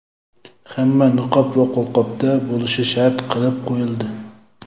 hamma niqob va qo‘lqopda bo‘lishi shart qilib qo‘yildi.